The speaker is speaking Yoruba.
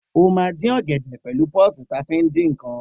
O má din ọgẹdẹ diẹ pẹlu pọ́tì ta fiń dikàn.